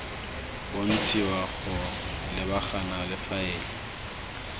bontshiwa go lebagana le faele